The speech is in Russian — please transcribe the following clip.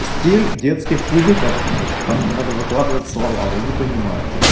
стиль детских кубиков там где надо выкладывать слова вы не понимаете